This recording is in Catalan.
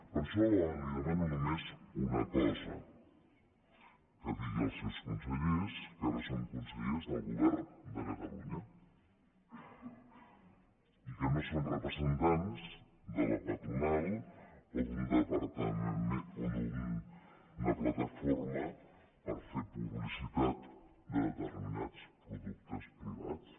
per això li demano només una cosa que digui als seus consellers que ara són consellers del govern de catalunya i que no són representants de la patronal o d’una plataforma per fer publicitat de determinats productes privats